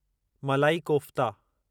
मलाइ कोफ़्ता